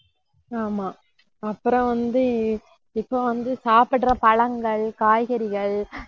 ஆமா அப்புறம் வந்து, இப்ப வந்து சாப்பிடுற பழங்கள், காய்கறிகள்